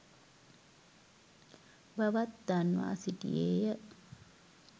බවත් දන්වා සිටියේය.